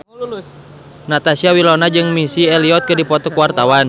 Natasha Wilona jeung Missy Elliott keur dipoto ku wartawan